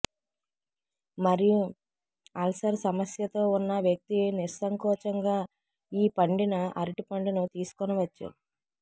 మరియు అల్సర్ సమస్యతో ఉన్న వ్యక్తి నిస్సంకోచంగా ఈ పండిన అరటి పండును తీసుకొనవచ్చు